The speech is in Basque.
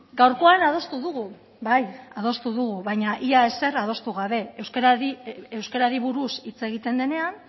gaurkoan adostu dugu bai adostu dugu baina ia ezer adostu gabe euskarari buruz hitz egiten denean